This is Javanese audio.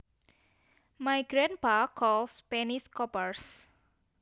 My grandpa calls pennies coppers